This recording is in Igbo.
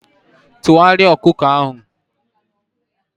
Tụgharịa ọkụ ọkụ ahụ!